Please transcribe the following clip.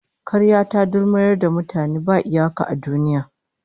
Karya ta dulmuyar da mutane ba iyaka a duniya